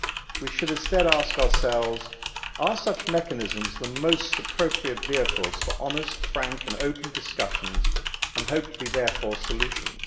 we should instead ask ourselves, are such mechanisms the most appropriate vehicles for honest, frank and open discussions, and hopefully, therefore, solutions?'